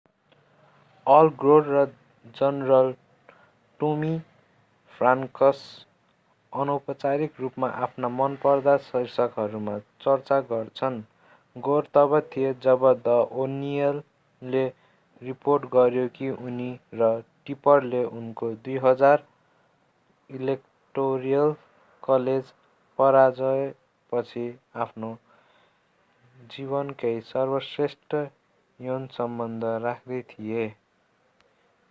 All Gore र general Tommy Franks अनौपचारिक रूपमा आफ्ना मनपर्दा शीर्षकहरूमा चर्चा गर्छन् गोर तब थिए जब द ओनियनले रिपोर्ट गर्‍यो कि उनी र टिपरले उनको 2000 ईलेक्टोरल कलेज पराजयपछि आफ्नो जीवनकै सर्वश्रेष्ठ यौनसम्बन्ध राख्दै थिए।